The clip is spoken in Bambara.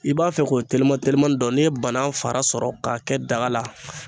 I b'a fɛ k'o teliman telimani dɔn n'i ye banan fara sɔrɔ k'a kɛ daga la